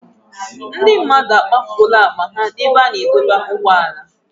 Ndị mmadụ akpafuola akpa ha n'ebe a na-adọba ụgbọala.